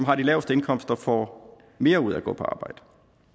har de laveste indkomster får mere ud af at gå på arbejde